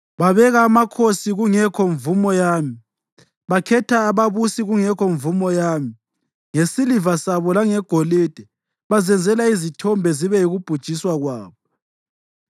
Babeka amakhosi kungekho mvumo yami; bakhetha ababusi kungekho mvumo yami. Ngesiliva sabo langegolide, bazenzela izithombe zibe yikubhujiswa kwabo.